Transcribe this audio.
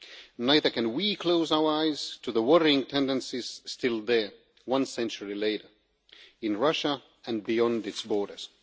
We cannot close our eyes, either, to the worrying tendencies still there, one century later, in Russia and beyond its borders.